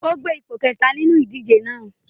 O gba ipo kẹta ninu idije náa